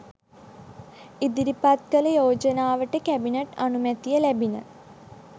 ඉදිරිපත් කළ යෝජනාවට කැබිනට් අනුමැතිය ලැබිණ